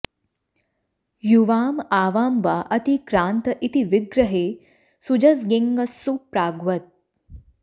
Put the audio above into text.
युवाम् आवां वा अतिक्रान्त इति विग्रहे सुजस्ङेङस्सु प्राग्वत्